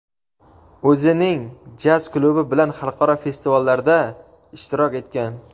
o‘zining jaz klubi bilan xalqaro festivallarda ishtirok etgan.